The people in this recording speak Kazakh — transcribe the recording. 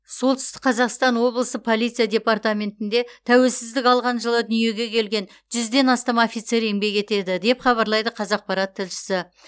солтүстік қазақстан облысы полиция департаментінде тәуелсіздік алған жылы дүниеге келген жүзден астам офицер еңбек етеді деп хабарлайды қазақпарат тілшісі